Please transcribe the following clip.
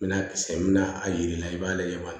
N bɛna kisɛ bɛ na a yiri la i b'a lajɛ